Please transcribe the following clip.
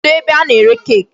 Kedụ ebe a na-ere cake?